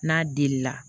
N'a delila